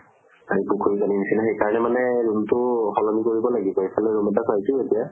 সেই পুখুৰীৰ পানী নিচিনা। সেই কাৰণে মানে room টো সলনি কৰিব লাগিব। এফালে room এটা পাইছো এতিয়া